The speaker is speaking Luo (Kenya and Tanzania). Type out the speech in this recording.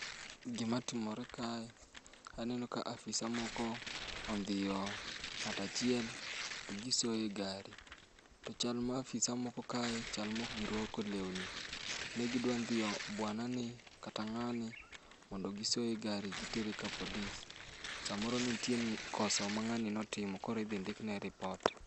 Gima timore kae, aneno ka afisa moko ondhiyo ng'atachiel to gisoye gari. To chal ma afisa moko kae to chal mok girwako lewni. Ne gidwa dhiyo bwana ni kata ng'ani, mondo gisoye e gari gitere ka polis. Samoro nitie koso ma ng'ani notimo koro idhi ndikne ripot.